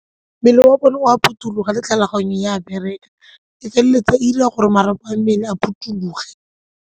Mmele wa bone o a phuthologa le tlhaloganyo e a bereka, e feleletsa e dira gore marapo a mmele a phuthologe.